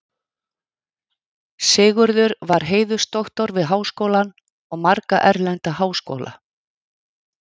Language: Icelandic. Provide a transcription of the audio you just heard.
Sigurður var heiðursdoktor við Háskólann og marga erlenda háskóla.